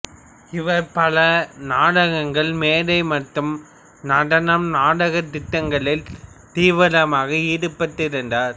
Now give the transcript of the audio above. இவர் பல நாடகங்கள்மேடை மற்றும் நடனம்நாடகத் திட்டங்களில் தீவிரமாக ஈடுபட்டிருந்தார்